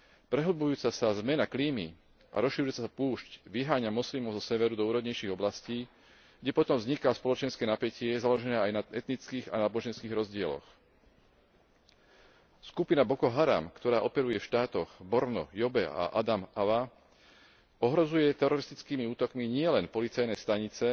Prehlbujúca sa zmena klímy a rozširujúca sa púšť vyháňa moslimov zo severu do úrodnejších oblastí, kde potom vzniká spoločenské napätie založené aj na etnických a náboženských rozdieloch. Skupina Boko Haram, ktorá operuje v štátoch Borno, Yobe a Adamawa ohrozuje teroristickými útokmi nielen policajné stanice